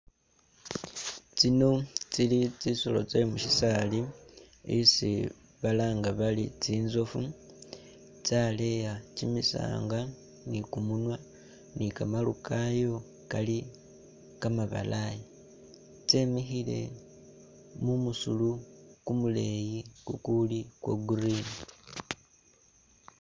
Tsino tsili tsisoolo tse musisaali isi balanga bari tsintsofu tsaleya kyimisanga ni kumunywa, ni kamaru kayo Kali kamabalayi tsemikhile mumusuru kumuleyi kukuli kwa green